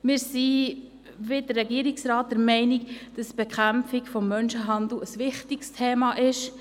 Wir sind, wie der Regierungsrat, der Meinung, dass die Bekämpfung des Menschenhandels ein wichtiges Thema ist.